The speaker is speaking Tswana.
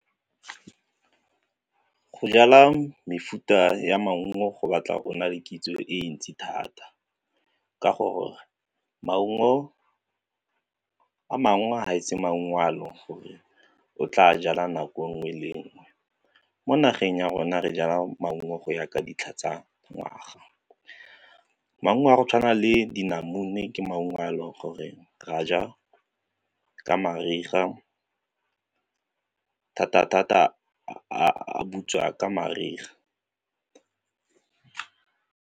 Go jala mefuta ya maungo go batla o na le kitso e ntsi thata ka gore maungo a mangwe ga a etse gore o tla jala nako nngwe le nngwe, mo nageng ya rona re jala maungo go ya ka ditlha tsa ngwaga. Maungo a go tshwana le dinamune ke maungo a e leng gore re a ja ka mariga thata-thata a butswa ka mariga.